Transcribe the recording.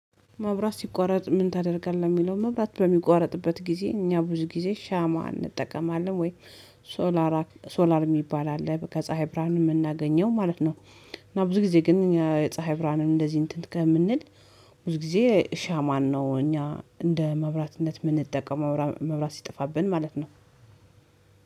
መብራት ሲቋረጥ ምን ታደርጋለህ የሚለው መብራት በሚቋረጥበት ጊዜ እኛ ብዙ ጊዜ ሻማ እንጠቀማለን ወይ ሶላር ሶላር የሚባል አለ ከፀሀይ ብርሃን የምናገኘው ማለት ነው እና ብዙ ጊዜ ግን እኛ ፀሀይ ብርሃንን እንደዚህ እንትን ከምንል ብዙ ጊዜ ሻማን ነው እኛ እንደ መብራትነት የምንጠቀመው መብራት ሲጠፋብን ማለት ነው።